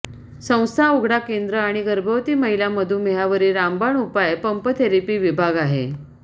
संस्था उघडा केंद्र आणि गर्भवती महिला मधुमेहावरील रामबाण उपाय पंप थेरपी विभाग आहे